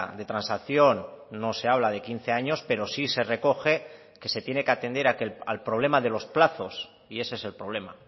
de transacción no se habla de quince años pero sí se recoge que se tiene que atender al problema de los plazos y ese es el problema